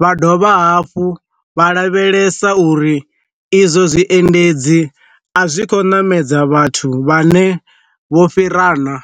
vha dovha hafhu vha lavhelesa uri izwo zwiendedzi a zwi kho ṋamedza vhathu vha ne vho fhira na.